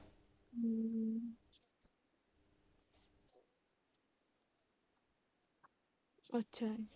ਅੱਛਾ।